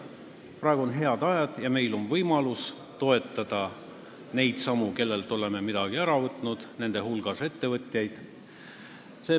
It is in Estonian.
Praegu on head ajad ja meil on võimalus toetada neid, kellelt oleme midagi ära võtnud, nende hulgas ettevõtjaid.